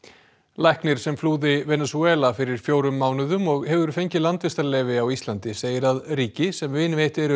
læknir sem flúði Venesúela fyrir fjórum mánuðum og hefur fengið landvistarleyfi á Íslandi segir að ríki sem vinveitt eru